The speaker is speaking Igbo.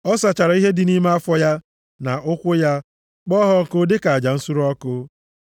Ọ sachara ihe dị nʼime afọ ya, na ụkwụ ya, kpọọ ha ọkụ, dịka aja nsure ọkụ.